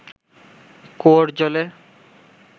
কুয়োর জলে